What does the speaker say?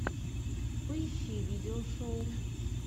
поищи видеошоу